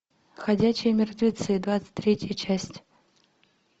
ходячие мертвецы двадцать третья часть